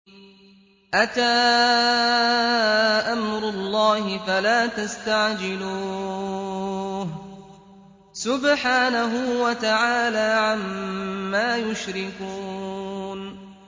أَتَىٰ أَمْرُ اللَّهِ فَلَا تَسْتَعْجِلُوهُ ۚ سُبْحَانَهُ وَتَعَالَىٰ عَمَّا يُشْرِكُونَ